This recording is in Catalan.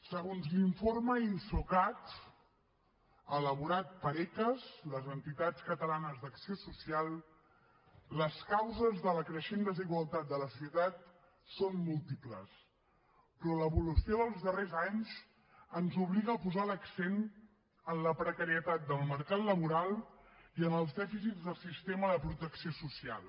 segons l’informe insocat elaborat per ecas les entitats catalanes d’acció social les causes de la creixent desigualtat de la societat són múltiples però l’evolució dels darrers anys ens obliga a posar l’accent en la precarietat del mercat laboral i en els dèficits del sistema de protecció social